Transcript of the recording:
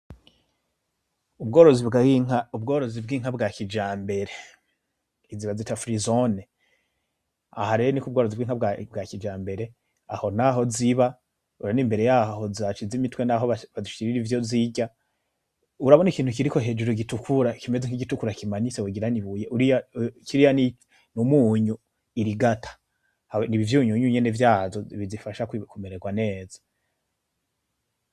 Ubworozi bw'inka, ubworozi bw'inka bwakijambere, izo bazita frizone. Aha rero nukubworozi bwakijambere aho nahoziba, urabona imbere yaho zashize imitwe niho bazishirira ivyo zirya. Urabona ikintu kiriko hejuru gitukura kimeze nkigitukura kimanitse wogira nibuye, uriya, kiriya numunyu irigata nivyunyunu nyene vyazo bizifasha kumererwa neza.